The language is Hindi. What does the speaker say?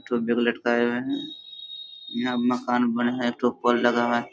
लटकाए हुए है। यहाँ मकान बनल है। एक ठो पोल लगा है।